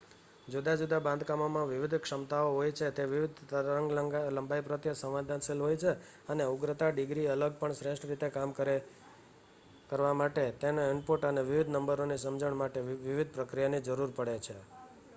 જુદા જુદા બાંધકામોમાં વિવિધ ક્ષમતાઓ હોય છે તે વિવિધ તરંગ-લંબાઈ પ્રત્યે સંવેદનશીલ હોય છે અને ઉગ્રતા ડિગ્રી અલગ પણ શ્રેષ્ઠ રીતે કામ કરવા માટે તેમને ઇનપુટ અને વિવિધ નંબરોની સમજણ માટે વિવિધ પ્રક્રિયાની જરૂર પડે છે